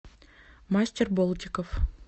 мастерболтиков